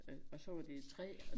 Øh og så var det træ